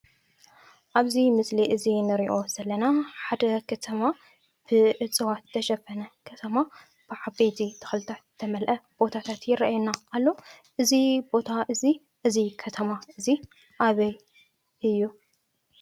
ኣብዚ ምስሊ እዚ እነሪኦ ዘለና ሓደ ከተማ ብእፅዋት ዝተሸፈነ ከተማ ብዓበይቲ ተክልታት ዝተመልአ ቦታታት ይርኣየና ኣሎ። እዚ ቦታ እዚ እዚ ከተማ እዚ ኣበይ እዩ?